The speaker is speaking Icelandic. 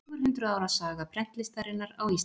Fjögur hundruð ára saga prentlistarinnar á Íslandi.